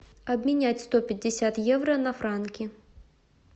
обменять сто пятьдесят евро на франки